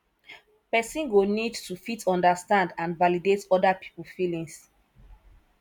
person go need to fit understand and validate oda pipo feelings